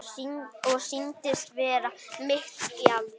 Og sýnist vera mitt gjald.